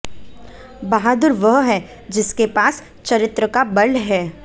बहादुर वह है जिसके पास चरित्र का बल है